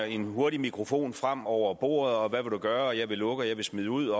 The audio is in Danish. en hurtig mikrofon frem over bordet hvad vil du gøre jeg vil lukke og jeg vil smide ud